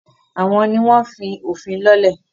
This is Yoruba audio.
àwọn ni wọ́n fí “òfin” lọ́lẹ̀.